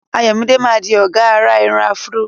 Ayomide máa di ọ̀gá àrà irun afro.